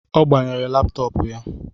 Ọ gbanyere laptọọpu